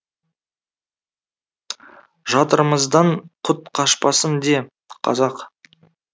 жатырымыздан құт қашпасын де қазақ